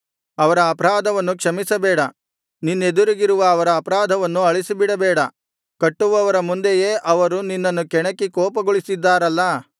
ಅವರ ಅಪರಾಧವನ್ನು ಕ್ಷಮಿಸಬೇಡ ನಿನ್ನೆದುರಿಗಿರುವ ಅವರ ಅಪರಾಧವನ್ನು ಅಳಿಸಿಬಿಡಬೇಡ ಕಟ್ಟುವವರ ಮುಂದೆಯೇ ಅವರು ನಿನ್ನನ್ನು ಕೆಣಕಿ ಕೋಪಗೊಳಿಸಿದ್ದಾರಲ್ಲಾ